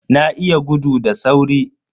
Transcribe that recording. Na iya gudu da sauri.